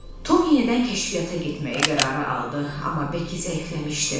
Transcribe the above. Tom yenidən kəşfiyyata getməyi qərara aldı, amma Beki zəifləmişdi.